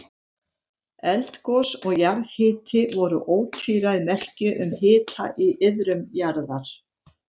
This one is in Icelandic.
Eldgos og jarðhiti voru ótvíræð merki um hita í iðrum jarðar.